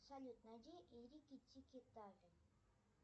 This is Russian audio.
салют найди рики тики тави